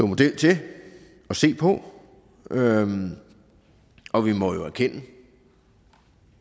model til og se på og og vi må jo erkende